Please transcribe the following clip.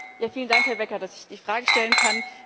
Vielen Dank, Herr Becker, dass ich die Frage stellen kann.